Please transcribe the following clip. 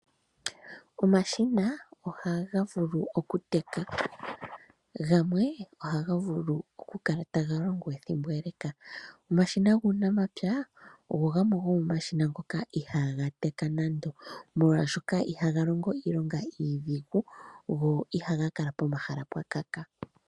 Omashina ohaga vulu okuteka, gamwe ohaga vulu okukala taga longo ethimbo ele. Omashina guunamapya ogo gamwe gomomashina ngoka ihaga teka nando, molwashoka ihaga longo iilonga iidhigu go ihaga kala pomahala pwakaka.